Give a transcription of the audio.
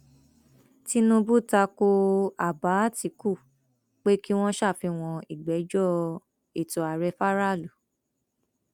tinúbù ta ko àbá àtìkù pé kí wọn ṣàfihàn ìgbẹjọ ètò ààrẹ faraàlú